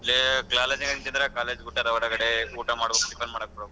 ಲೇ college ಆಗದ್ದಿನಿ ಚಂದ್ರ college ಬಿಟ್ಟಾರ ಒರಗಡೆ ಊಟ ಮಾಡ್ಬೇಕು tiffin ಮಾಡ್ಬೇಕು bro .